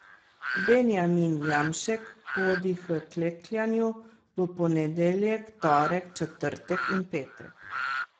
Benjamin Jamšek hodi h klekljanju v ponedeljek, torek, četrtek in petek.